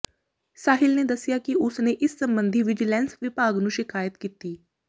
ਸਾਹਿਲ ਨੇ ਦੱਸਿਆ ਕਿ ਉਸ ਨੇ ਇਸ ਸਬੰਧੀ ਵਿਜੀਲੈਂਸ ਵਿਭਾਗ ਨੂੰ ਸ਼ਿਕਾਇਤ ਕੀਤੀ